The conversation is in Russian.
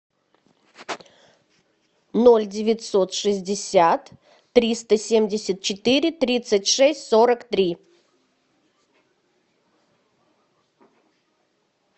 ноль девятьсот шестьдесят триста семьдесят четыре тридцать шесть сорок три